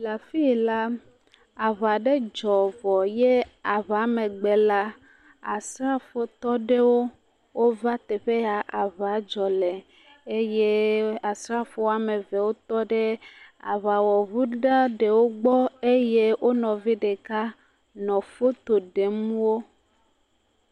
Le afi la, aŋa ɖe dzɔ vɔ ye aŋamegb la asrafotɔ ɖewo wova teƒe ya aŋa dzɔ le eye asrafo woame evewo tɔ ɖe aŋawɔŋu eɖewo gbɔ eye wo nɔvi ɖeka nɔ foto ɖem wo.